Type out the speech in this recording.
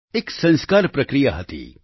એક સંસ્કાર પ્રક્રિયા હતી